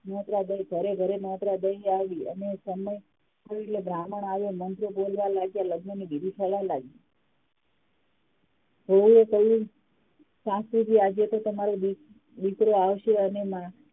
નોતરા દઈ ઘરે ઘરે નોતરા દઈ આવી અને કહ્યું એટલે બ્રાહ્મણ આવ્યા મંત્ર બોલવા લાગ્યા લગ્નની વિધિ થવા લાગી વહુએ એ કહ્યું સાસુજી આજે તો તમારો દીક દીકરો આવશે અને